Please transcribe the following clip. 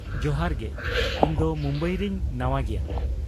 ᱡᱚᱦᱟᱨ ᱜᱮ, ᱤᱧ ᱫᱚ ᱢᱩᱢᱵᱟᱭ ᱨᱤᱧ ᱱᱟᱶᱟ ᱜᱮᱭᱟ ᱾